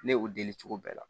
Ne y'o deli cogo bɛɛ la